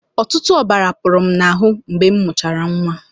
Ọtụtụ ọbara pụrụ m n'ahụ mgbe m mụchara nwa.